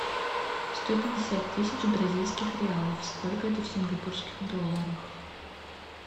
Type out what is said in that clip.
сто пятьдесят тысяч бразильских реалов сколько это в сингапурских долларах